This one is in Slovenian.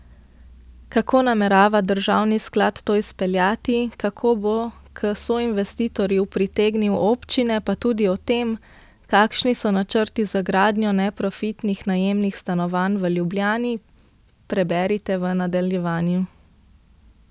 Kako namerava državni sklad to izpeljati, kako bo k soinvestitorju pritegnil občine, pa tudi o tem, kakšni so načrti za gradnjo neprofitnih najemnih stanovanj v Ljubljani, preberite v nadaljevanju.